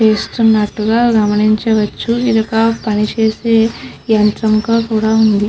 చేస్తునట్టుగా గమనించవచ్చు ఇదొక పని చేసే యంత్రం గా కూడా ఉంది.